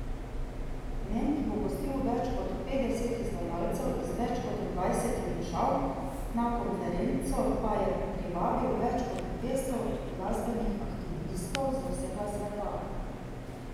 Ment bo gostil več kot petdeset izvajalcev iz več kot dvajsetih držav, na konferenco pa je privabil več kot dvesto glasbenih aktivistov z vsega sveta.